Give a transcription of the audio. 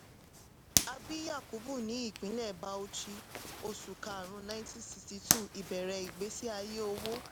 a bí yakubu ní ìpínlẹ̀ bauchi oṣù karùn-ún nineteen siọty two ìbẹ̀rẹ̀ ìgbésí ayé owó.